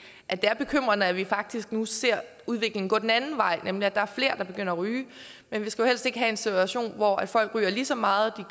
at det er bekymrende at vi faktisk nu ser at udviklingen går den anden vej nemlig at der er flere der begynder at ryge men vi skulle helst ikke have en situation hvor folk ryger lige så meget